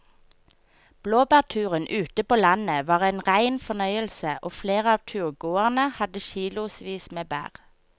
Blåbærturen ute på landet var en rein fornøyelse og flere av turgåerene hadde kilosvis med bær.